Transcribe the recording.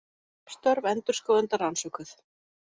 Störf endurskoðenda rannsökuð